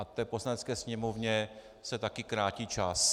A té Poslanecké sněmovně se taky krátí čas.